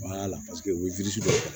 u ye